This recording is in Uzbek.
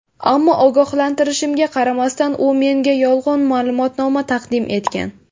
Ammo ogohlantirishimga qaramasdan u menga yolg‘on ma’lumotnoma taqdim etgan.